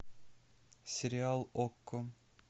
сериал окко